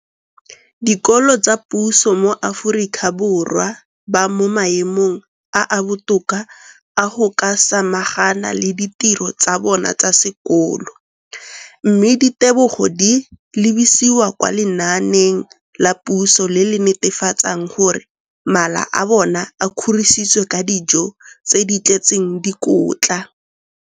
dikolo tsa puso mo Aforika Borwa ba mo maemong a a botoka a go ka samagana le ditiro tsa bona tsa sekolo, mme ditebogo di lebisiwa kwa lenaaneng la puso le le netefatsang gore mala a bona a kgorisitswe ka dijo tse di tletseng dikotla.